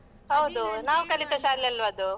ಹೌದು. ನಾವು ಕಲಿತ ಶಾಲೆ ಅಲ್ವಾ ಅದು.